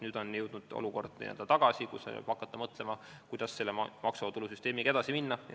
Nüüd on jõudnud see olukord tagasi ja tuleb hakata mõtlema, kuidas maksuvaba tulu süsteemiga edasi minna.